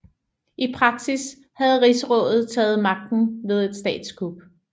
I praksis havde Rigsrådet taget magten ved et statskup